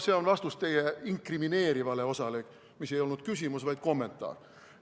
See oli vastus teie küsimuse inkrimineerivale osale, mis ei olnud küsimus, vaid kommentaar.